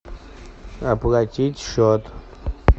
оплатить счет